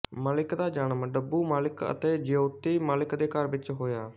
ਮਲਿਕ ਦਾ ਜਨਮ ਡੱਬੂ ਮਲਿਕ ਅਤੇ ਜਯੋਤੀ ਮਲਿਕ ਦੇ ਘਰ ਹੋਇਆ ਸੀ